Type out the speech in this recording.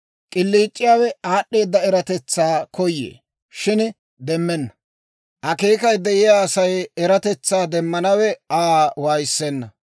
K'iliic'iyaawe aad'd'eeda eratetsaa koyee; shin demmenna; akeekay de'iyaa Asay eratetsaa demmanawe Aa waayissenna.